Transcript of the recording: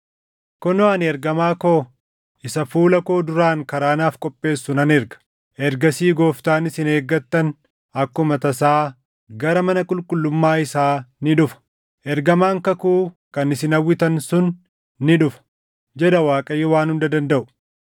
“Kunoo ani ergamaa koo isa fuula koo duraan karaa naaf qopheessu nan erga. Ergasii Gooftaan isin eeggattan akkuma tasaa gara mana qulqullummaa isaa ni dhufa; ergamaan kakuu kan isin hawwitan sun ni dhufa” jedha Waaqayyo Waan Hunda Dandaʼu.